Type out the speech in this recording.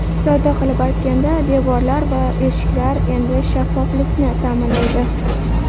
Sodda qilib aytganda devorlar va eshiklar endi shaffoflikni ta’minlaydi.